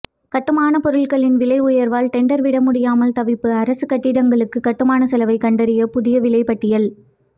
கட்டுமானப்பொருட்களின் விலை உயர்வால் டெண்டர் விட முடியாமல் தவிப்பு அரசு கட்டிடங்களுக்கு கட்டுமான செலவை கண்டறிய புதிய விலைபட்டியல்